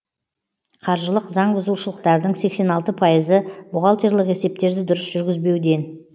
қаржылық заңбұзушылықтардың сексен алты пайызы бухгалтерлік есептерді дұрыс жүргізбеуден